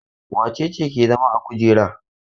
Wace ce ke zama a kujera?